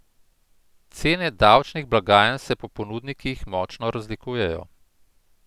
Cene davčnih blagajn se pri ponudnikih močno razlikujejo.